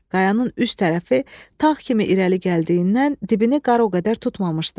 Qayanın üst tərəfi tağ kimi irəli gəldiyindən, dibini qar o qədər tutmamışdı.